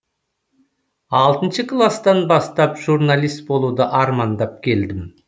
алтыншы класстан бастап журналист болуды армандап келдім